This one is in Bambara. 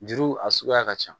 Juru a suguya ka ca